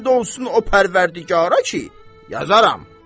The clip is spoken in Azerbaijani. And olsun o Pərvərdigara ki, yazaram.